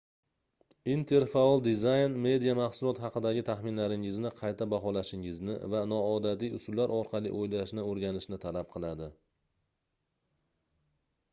interfaol dizayn media mahsulot haqidagi taxminlaringizni qayta baholashingizni va noodatiy usullar orqali oʻylashni oʻrganishni talab qiladi